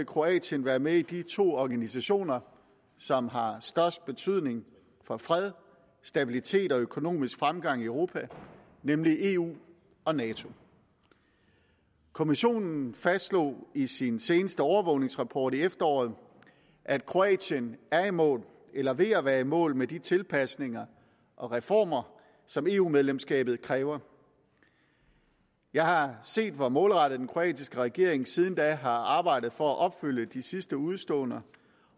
kroatien være med i de to organisationer som har størst betydning for fred stabilitet og økonomisk fremgang i europa nemlig eu og nato kommissionen fastslog i sin seneste overvågningsrapport i efteråret at kroatien er i mål eller er ved at være i mål med de tilpasninger og reformer som eu medlemskabet kræver jeg har set hvor målrettet den kroatiske regering siden da har arbejdet for at opfylde de sidste udestående